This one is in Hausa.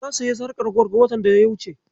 Na sayi sarƙar gwal watan daya wuce.